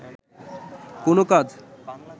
কোন কাজ